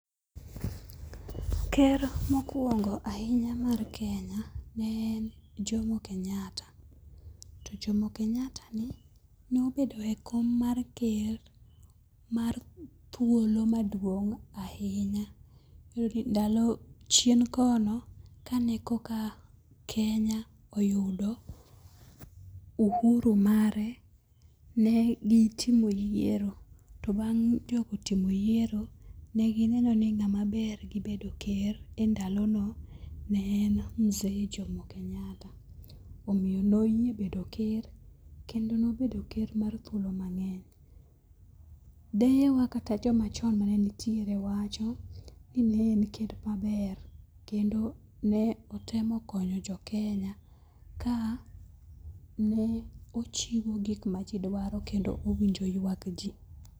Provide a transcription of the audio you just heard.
Ker mokwongo ahinya mar Kenya ne en Jomo Kenyatta. To Jomo Kenyatta ni nobedo e kom mar ker mar thuolo maduong' ahinya ndalo chien kono kane koka Kenya oyudo uhuru mare ne gitimo yiero to bang' jogo timo yiero ne gineno ni ng'ama ber gi bedo ker e ndalono ne en Mzee Jomo Kenyatta. Omiyo noyie bedo ker kendo nobedo ker kuom thuolo mang'eny. Deye wa kata jomachon manitiere wacho ni ne en ker maber kendo ne otemo konyo jo Kenya ka ne ochiwo gik majidwaro kendo owinjo yuak ji.